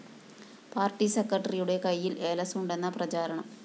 party സെക്രട്ടറിയുടെ കൈയില്‍ ഏലസുണ്ടെന്ന പ്രചാരണം